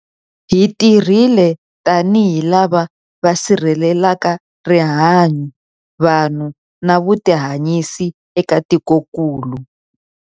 Hi tirhile tanihi lava va sirhelelaka rihanyu, vanhu na vutihanyisi eka tikokulu.